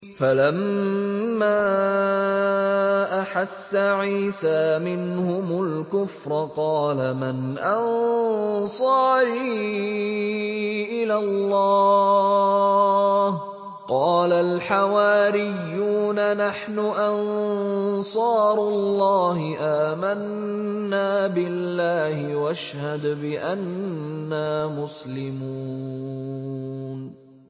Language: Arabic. ۞ فَلَمَّا أَحَسَّ عِيسَىٰ مِنْهُمُ الْكُفْرَ قَالَ مَنْ أَنصَارِي إِلَى اللَّهِ ۖ قَالَ الْحَوَارِيُّونَ نَحْنُ أَنصَارُ اللَّهِ آمَنَّا بِاللَّهِ وَاشْهَدْ بِأَنَّا مُسْلِمُونَ